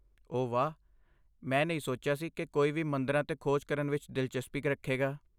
ਓ ਵਾਹ, ਮੈਂ ਨਹੀਂ ਸੋਚਿਆ ਸੀ ਕਿ ਕੋਈ ਵੀ ਮੰਦਰਾਂ 'ਤੇ ਖੋਜ ਕਰਨ ਵਿਚ ਦਿਲਚਸਪੀ ਰੱਖੇਗਾ